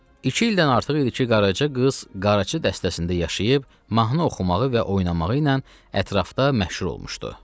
İki ildən artıq idi ki, Qaraca qız qarçı dəstəsində yaşayıb mahnı oxumağı və oynamağı ilə ətrafda məşhur olmuşdu.